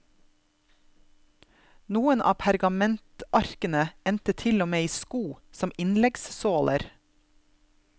Noen av pergamentarkene endte til og med i sko, som innleggssåler.